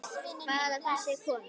Hvað af þessu er komið?